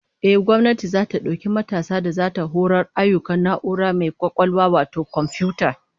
Ehh, gwamnati zata dauki matasa da zata horar ayyukan na'ura mai kwakwalwa wato komfiyuta